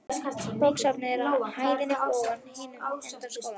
Bókasafnið er á hæðinni fyrir ofan í hinum enda skólans.